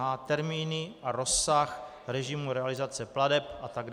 h) termíny a rozsah režimu realizace plateb atd.